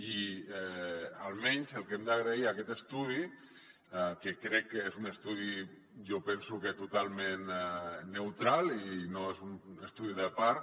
i almenys el que hem d’agrair a aquest estudi que crec que és un estudi jo penso que totalment neutral i no és un estudi de part